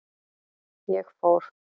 Ég fór.